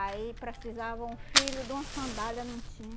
Aí precisava um filho de uma sandália, não